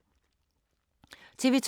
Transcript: TV 2